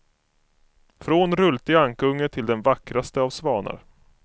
Från rultig ankunge till den vackraste av svanar.